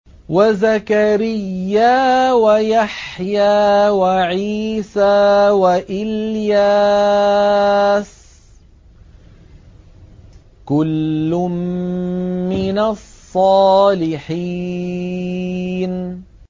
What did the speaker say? وَزَكَرِيَّا وَيَحْيَىٰ وَعِيسَىٰ وَإِلْيَاسَ ۖ كُلٌّ مِّنَ الصَّالِحِينَ